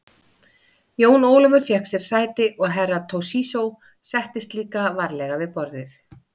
Jón Ólafur fékk sér sæti og Herra Toshizo settist líka varlega við borðið.